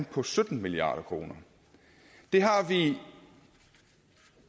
på sytten milliard kroner det har